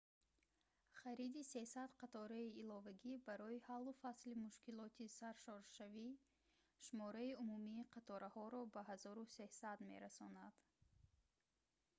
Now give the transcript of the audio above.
хариди 300 қатораи иловагӣ барои ҳаллу фасли мушкилоти саршоршавӣ шумораи умумии қатораҳоро ба 1300 мерасонад